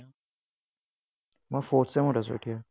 মই fourth sem ত আছোঁ এতিয়া।